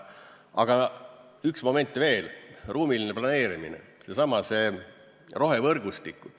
Aga üks moment veel, ruumiline planeerimine, seesama rohevõrgustik.